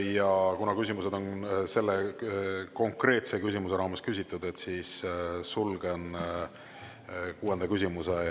Ja kuna küsimused on selle konkreetse küsimuse raames küsitud, siis lõpetan kuuenda küsimuse käsitlemise.